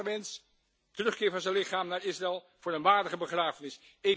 Hun hartenwens terugkeer van zijn lichaam naar Israël voor een waardige begrafenis.